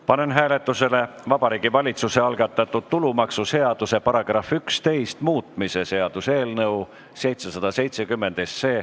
Panen hääletusele Vabariigi Valitsuse algatatud tulumaksuseaduse § 11 muutmise seaduse eelnõu .